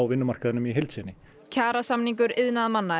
vinnumarkaðnum í heild sinni kjarasamningur iðnaðarmanna